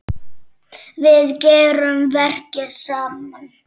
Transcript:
Við gerum verkin saman.